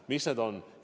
Mis need on?